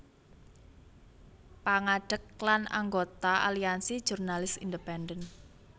Pangadeg lan anggota Aliansi Jurnalis Independen